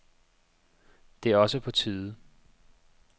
Det er også på tide.